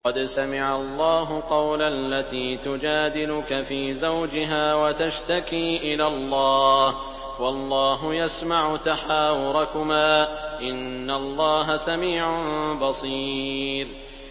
قَدْ سَمِعَ اللَّهُ قَوْلَ الَّتِي تُجَادِلُكَ فِي زَوْجِهَا وَتَشْتَكِي إِلَى اللَّهِ وَاللَّهُ يَسْمَعُ تَحَاوُرَكُمَا ۚ إِنَّ اللَّهَ سَمِيعٌ بَصِيرٌ